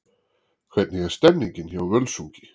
Hvernig er stemningin hjá Völsungi?